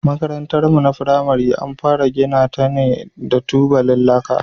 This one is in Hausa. Makarantarmu ta firamare an fara gina ta ne da tubalan laka.